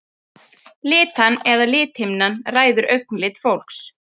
Litan eða lithimnan ræður augnlit fólks.